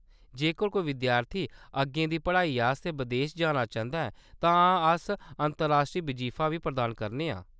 जेकर कोई विद्यार्थी अग्गें दी पढ़ाई आस्तै बदेस जाना चांह्‌‌‌दा ऐ तां अस अंतर्राश्ट्री बजीफा बी प्रदान करने आं।